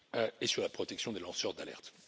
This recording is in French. et sur la protection des lanceurs d'alerte.